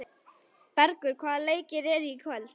Bergur, hvaða leikir eru í kvöld?